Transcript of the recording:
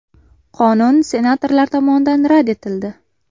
Qonun senatorlar tomonidan rad etildi.